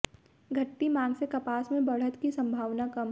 घटती मांग से कपास में बढ़त की संभावना कम